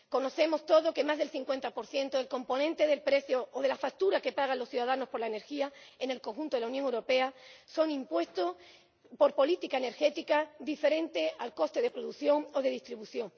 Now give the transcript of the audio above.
Conocemos todos que más del 50 del componente del precio o de la factura que pagan los ciudadanos por la energía en el conjunto de la Unión Europea son impuestos por política energética, diferentes al coste de producción o de distribución.